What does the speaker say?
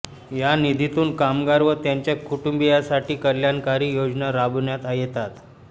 या निधीतून कामगार व त्यांच्या कुटुंबियांसाठी कल्याणकारी योजना राबविण्यात येतात